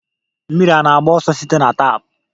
Mmiri ana-agba ọsọ site na tap?